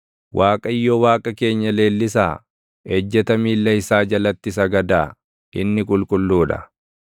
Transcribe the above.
Waaqayyo Waaqa keenya leellisaa; ejjeta miilla isaa jalatti sagadaa; inni qulqulluu dha.